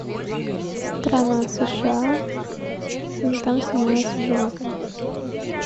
страна сша там снимаются животные